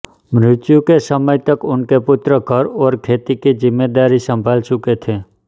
मृत्यु के समय तक उनके पुत्र घर और खेती की जिम्मेदारी संभाल चुके थे